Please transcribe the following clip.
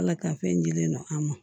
Ala ka fɛn dilen no an ma